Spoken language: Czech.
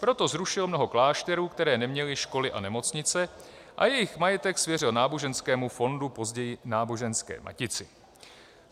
Proto zrušil mnoho klášterů, které neměly školy a nemocnice, a jejich majetek svěřil náboženskému fondu, později Náboženské matici.